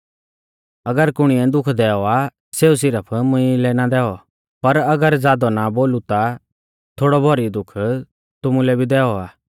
अगर कुणिऐ दुःख दैऔ आ सेऊ सिरफ मुंई लै ना दैऔ पर अगर ज़ादौ ना बोलु ता थोड़ौभौरी दुःख तुमुलै भी दैऔ आ